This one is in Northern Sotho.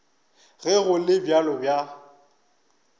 ge go le bjalo ba